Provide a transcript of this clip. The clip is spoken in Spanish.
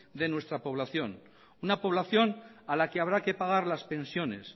de nuestra población una población a la que habrá que pagar las pensiones